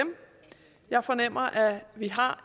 jeg fornemmer at vi har